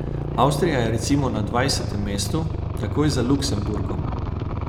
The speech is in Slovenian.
Avstrija je recimo na dvanajstem mestu, takoj za Luksemburgom.